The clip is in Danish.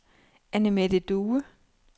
Annemette Due